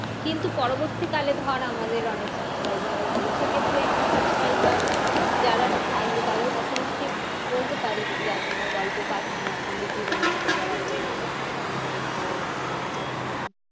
কিন্তু পরবর্তী কালে ধর আমাদের অনেক subscriber হয়ে গেলো। সেক্ষেত্রে আমরা subscriber যারা থাকবে তাদের কাছে নিশ্চিত বলতে পারি যে, আপনারা গল্প পাঠান। আপনাদের জীবনে ঘটে যাওয়া কোনো ব্যাখ্যা হীন গল্প বা ঘটনা